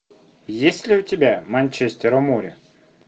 есть ли у тебя манчестер у моря